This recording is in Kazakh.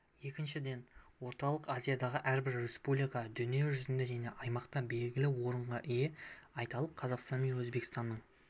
екіншіден орталық азиядағы әрбір республика дүние жүзінде және аймақта белгілі орынға ие айталық қазақстан мен өзбекстанның